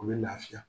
U bɛ lafiya